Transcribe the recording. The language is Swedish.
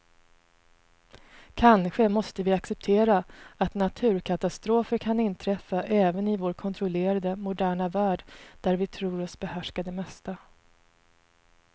Kanske måste vi acceptera att naturkatastrofer kan inträffa även i vår kontrollerade, moderna värld där vi tror oss behärska det mesta.